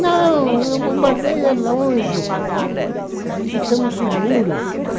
Não, eu bombardeio é longe, aqui aqui estamos seguros.